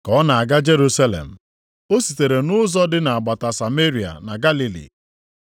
Ka ọ na-aga Jerusalem, o sitere nʼụzọ dị nʼagbata Sameria na Galili.